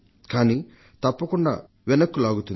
కానీ తప్పకుండా వెనక్కులాగుతుంది